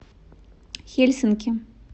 хельсинки